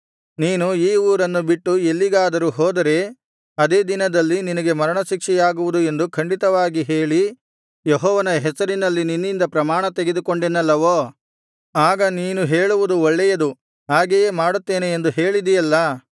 ನೀನು ಈ ಊರನ್ನು ಬಿಟ್ಟು ಎಲ್ಲಿಗಾದರೂ ಹೋದರೆ ಅದೇ ದಿನದಲ್ಲಿ ನಿನಗೆ ಮರಣ ಶಿಕ್ಷೆಯಾಗುವುದು ಎಂದು ಖಂಡಿತವಾಗಿ ಹೇಳಿ ಯೆಹೋವನ ಹೆಸರಿನಲ್ಲಿ ನಿನ್ನಿಂದ ಪ್ರಮಾಣ ತೆಗೆದುಕೊಂಡೆನಲ್ಲವೋ ಆಗ ನೀನು ಹೇಳುವುದು ಒಳ್ಳೇಯದು ಹಾಗೆಯೇ ಮಾಡುತ್ತೇನೆ ಎಂದು ಹೇಳಿದಿಯಲ್ಲಾ